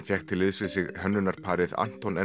fékk til liðs við sig hönnunarteymið Anton